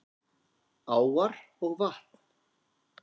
Áar og vatn